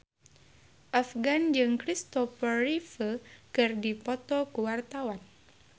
Afgan jeung Kristopher Reeve keur dipoto ku wartawan